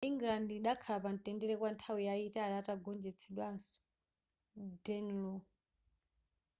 england idakhala pamtendere kwa nthawi yayitali atagonjetsanso danelaw